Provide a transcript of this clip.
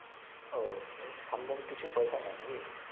আহ থামলেন কিছু পয়সা নেই না কি